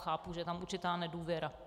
Chápu, že je tam určitá nedůvěra.